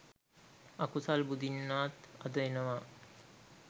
අකුසල් බුදින්නාත් අද එනවා